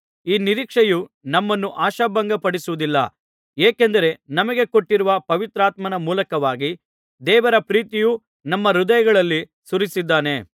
ಈ ನಿರೀಕ್ಷೆಯು ನಮ್ಮನ್ನು ಆಶಾಭಂಗಪಡಿಸುವುದಿಲ್ಲ ಏಕೆಂದರೆ ನಮಗೆ ಕೊಟ್ಟಿರುವ ಪವಿತ್ರಾತ್ಮನ ಮೂಲಕವಾಗಿ ದೇವರ ಪ್ರೀತಿಯು ನಮ್ಮ ಹೃದಯಗಳಲ್ಲಿ ಸುರಿಸಿದ್ದಾನೆ